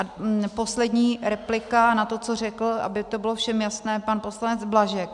A poslední replika na to, co řekl, aby to bylo všem jasné, pan poslanec Blažek.